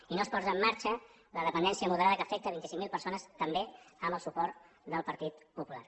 i no es posa en marxa la dependència moderada que afecta vint cinc mil persones també amb el suport del partit popular